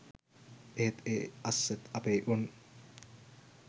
එහෙත් ඒ අස්සෙත් අපේ උන්